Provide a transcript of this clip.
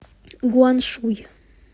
гуаншуй